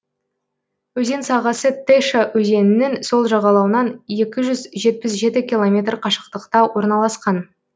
өзен сағасы теша өзенінің сол жағалауынан екі жүз жетпіс жеті километр қашықтықта орналасқан